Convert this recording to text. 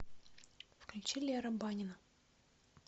включи лера банина